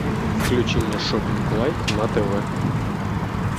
включи мне шоппинг лайф на тв